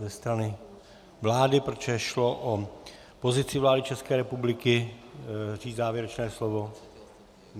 Ze strany vlády, protože šlo o pozici vlády České republiky, říct závěrečné slovo?